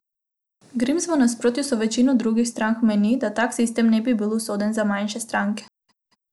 Grims v nasprotju z večino drugih strank meni, da tak sistem ne bi bil usoden za manjše stranke.